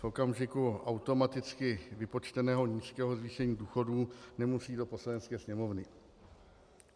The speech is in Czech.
V okamžiku automaticky vypočteného nízkého zvýšení důchodu nemusí do Poslanecké sněmovny.